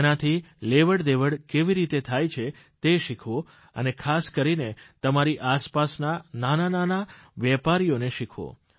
તેનાથી લેવડદેવડ કેવી રીતે થાય છે તે શીખવો અને ખાસ કરીને તમારી આસપાસના નાના નાના વેપારીઓને શીખવો